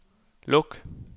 luk